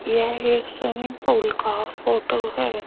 यह एक swimming pool का फोटो है।